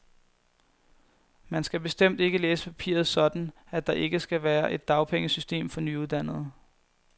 Man skal bestemt ikke læse papiret sådan, at der ikke skal være et dagpengesystem for nyuddannede.